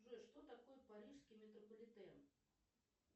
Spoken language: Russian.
джой что такое парижский метрополитен